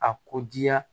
A ko diya